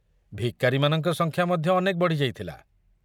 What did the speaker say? ଭିକାରୀମାନଙ୍କ ସଂଖ୍ୟା ମଧ୍ୟ ଅନେକ ବଢ଼ି ଯାଇଥିଲା।